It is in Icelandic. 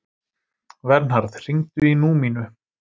Vernharð, hringdu í Númínu.